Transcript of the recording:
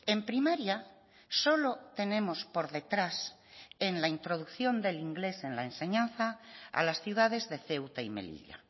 en primaria solo tenemos por detrás en la introducción del inglés en la enseñanza a las ciudades de ceuta y melilla